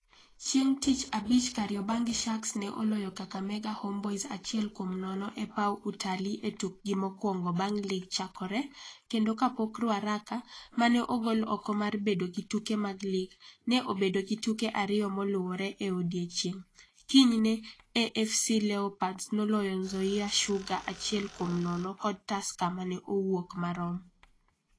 Chieng' tich abich Kariobangi Sharks ne oloyo Kakamega Homeboyz achiel kuom nono e paw Utalii e tukgi mokwongo bang' lig chakore kendo kapok Ruaraka, ma ne ogol oko mar bedo gi tuke mag lig, ne obedo gi tuke ariyo moluwore e odiechieng' kinyne (AFC Leopards noloyo Nzoia Sugar achiel kuom nono kod Tusker mane owuok marom).